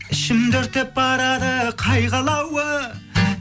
ішімді өртеп барады қайғы алауы